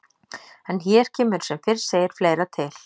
En hér kemur sem fyrr segir fleira til.